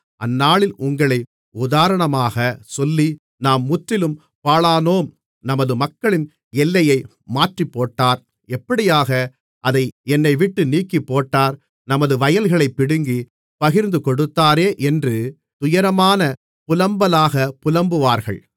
அந்நாளில் உங்களை உதாரணமாகச்சொல்லி நாம் முற்றிலும் பாழானோம் நமது மக்களின் எல்லையை மாற்றிப்போட்டார் எப்படியாக அதை என்னைவிட்டு நீக்கிப்போட்டார் நமது வயல்களைப் பிடுங்கிப் பகிர்ந்துகொடுத்தாரே என்று துயரமான புலம்பலாகப் புலம்புவார்கள்